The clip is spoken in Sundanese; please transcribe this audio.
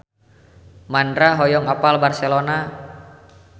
Mandra hoyong apal Barcelona